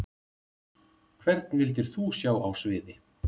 Hvern vildir þú sjá á sviði?